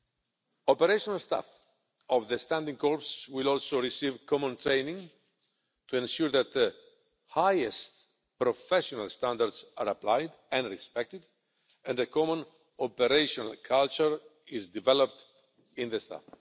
The operational staff of the standing corps will also receive common training to ensure that the highest professional standards are applied and respected and a common operational culture is developed among the staff.